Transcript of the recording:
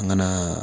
N ka na